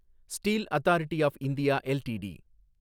steel authority of India LTD